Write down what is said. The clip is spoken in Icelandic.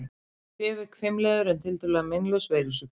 Kvef er hvimleiður en tiltölulega meinlaus veirusjúkdómur.